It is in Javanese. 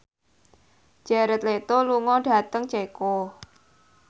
Jared Leto lunga dhateng Ceko